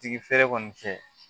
Tigi feere kɔni cɛ